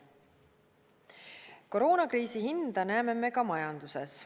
Koroonakriisi hinda näeme ka majanduses.